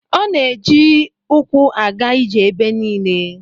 A na-eji ukwu aga ije ebe niile